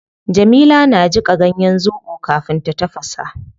Jamila na jika ganyen zobo kafin ta tafasa